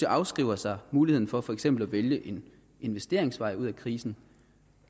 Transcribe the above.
afskrive sig muligheden for for eksempel at vælge en investeringsvej ud af krisen